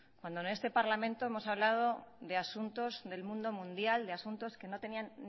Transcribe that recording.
cuando en este parlamento hemos hablado de asuntos del mundo mundial de asuntos que no tenían